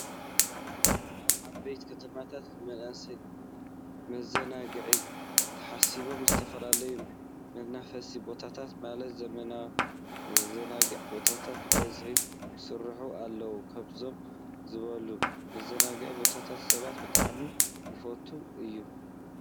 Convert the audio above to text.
ኣብ ዓበይቲ ከተማታት ንመናእሰይ መዘናግዒ ተሓስቦም ዝተፈላለዩ መናፈሲ ቦታታት ማለት መዘናግዒ ቦታታት በበዝሒ ክስርሑ ኣለዎም። ከምዚኦም ዝበሉ መዘናግዒ ቦታታት ሰባት ብጣዕሚ ይፈትዉ እዮም።